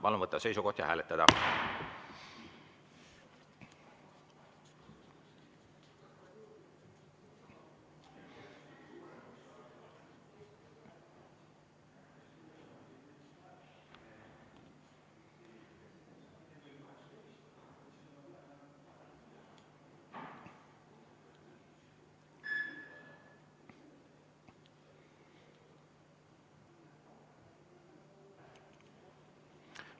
Palun võtta seisukoht ja hääletada!